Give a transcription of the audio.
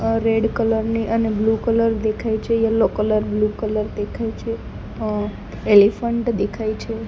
અહ red colour ની અને blue colour દેખાઇ છે યેલો કલર બ્લુ કલર દેખાઇ છે અહ એલિફન્ટ દેખાઇ છે.